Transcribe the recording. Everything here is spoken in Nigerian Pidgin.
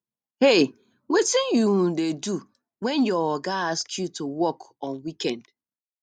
um wetin you um dey do when your oga ask you to work on weekend